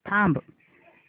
थांब